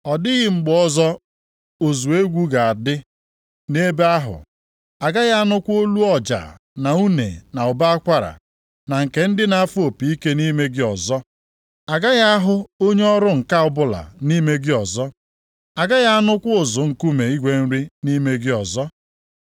Ọ dịghị mgbe ọzọ ụzụ egwu ga-adị nʼebe ahụ. Agaghị anụkwa olu ọja na une na ụbọ akwara na nke ndị na-afụ opi ike nʼime gị ọzọ. Aghaghị ahụ onye ọrụ ǹka ọbụla nʼime gị ọzọ. Agaghị anụkwa ụzụ nkume igwe nri nʼime gị ọzọ.